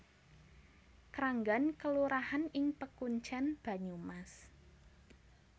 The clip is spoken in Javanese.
Kranggan kelurahan ing Pekuncèn Banyumas